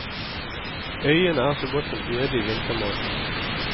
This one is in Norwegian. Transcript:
Øyene er så godt som øde i vintermånedene.